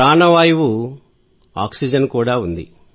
ప్రాణ వాయువు ఆక్సిజన్ ఉంది